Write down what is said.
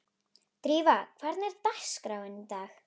Drífa, hvernig er dagskráin í dag?